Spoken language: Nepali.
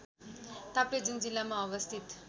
ताप्लेजुङ जिल्लामा अवस्थित